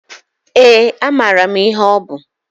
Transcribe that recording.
Ee, amara m ihe ọ bu.